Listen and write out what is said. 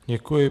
Děkuji.